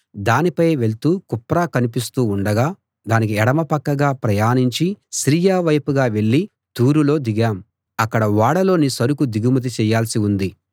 దానిపై వెళ్తూ కుప్ర కనిపిస్తూ ఉండగా దానికి ఎడమ పక్కగా ప్రయాణించి సిరియా వైపుగా వెళ్ళి తూరులో దిగాం అక్కడ ఓడలోని సరుకు దిగుమతి చెయ్యాల్సి ఉంది